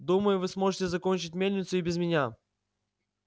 думаю вы сможете закончить мельницу и без меня